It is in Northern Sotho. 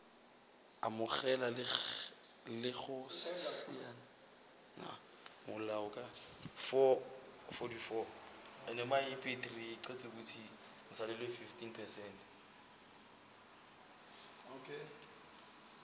amogela le go saena molaokakanywa